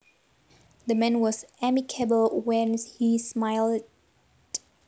The man was amicable when he smiled